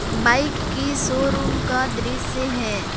Bike की showroom का दृश्य है।